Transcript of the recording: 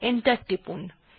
enter টিপুন